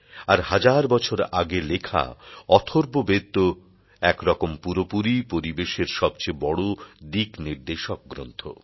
আর হাজার বছর আগে লেখা অথর্ববেদ তো একরকম পুরোপুরিই পরিবেশের সবচেয়ে বড় দিকনির্দেশক গ্রন্থ